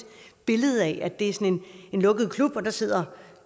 billede af at det er en lukket klub hvor der sidder